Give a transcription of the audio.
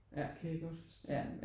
Det kan jeg godt forstå